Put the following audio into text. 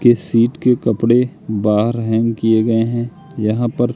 के सीट के कपड़े बाहर हैंग किए गए हैं यहां पर--